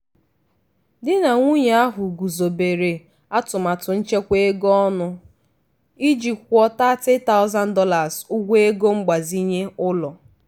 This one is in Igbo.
di na nwunye ahụ guzobere atụmatụ nchekwa ego ọnụ iji kwụọ $30000 ụgwọ ego mgbazinye ụlọ.